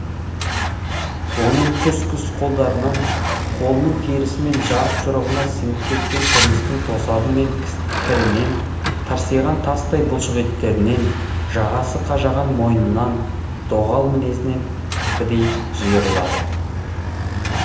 оның күс күс қолдарынан қолының терісі мен жарық жұрығына сіңіп кеткен тұрмыстың тосабы мен кірінен тырсиған тастай бұлшық еттерінен жағасы қажаған мойнынан доғал мінезінен кірпідей жиырылады